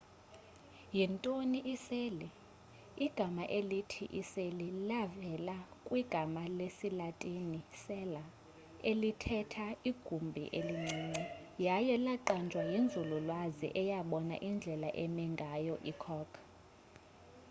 yintoni iseli igama elithi iseli livela kwigama lesilatini cella elithetha igumbi elincinci yaye laqanjwa yinzululwazi eyabona indlela eme ngayo i-cork